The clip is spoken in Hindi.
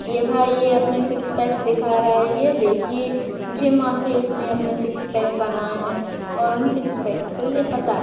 ये भाई ये अपने सिक्स पैक दिखा रहा हैं ये देखिए जिम आके इसने अपने सिक्स पैक बनाए हैंऔर उन सिक्स पैक को ये बता--